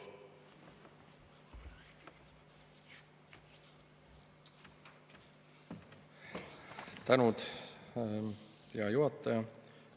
Tänud, hea juhataja!